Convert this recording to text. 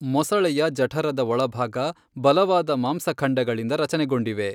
ಮೊಸಳೆಯ ಜಠರದ ಒಳಭಾಗ ಬಲವಾದ ಮಾಂಸಖಂಡಗಳಿಂದ ರಚನೆಗೊಂಡಿವೆ.